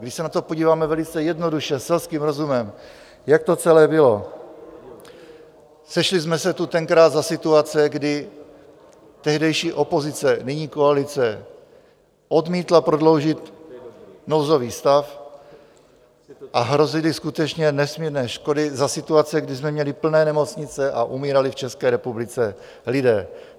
Když se na to podíváme velice jednoduše selským rozumem, jak to celé bylo: Sešli jsme se tu tenkrát za situace, kdy tehdejší opozice, nyní koalice, odmítla prodloužit nouzový stav a hrozily skutečně nesmírné škody za situace, kdy jsme měli plné nemocnice a umírali v České republice lidé.